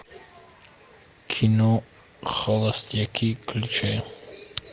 кино холостяки включай